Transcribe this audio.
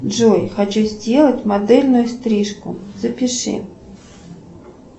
джой хочу сделать модельную стрижку запиши